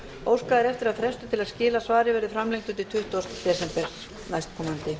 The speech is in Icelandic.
óskað er eftir að frestur til að skila svari verði framlengdur til tuttugasta desember næstkomandi